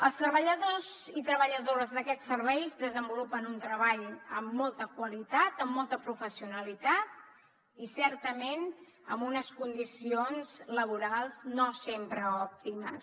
els treballadors i treballadores d’aquests serveis desenvolupen un treball amb molta qualitat amb molta professionalitat i certament amb unes condicions laborals no sempre òptimes